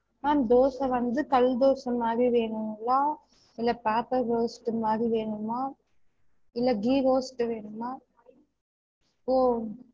Ma'am dosa வந்து கல்தோச மாறி வேணுங்களா? இல்ல paper roast மாறி வேணுமா? இல்ல ghee roast வேணுமா? ஓ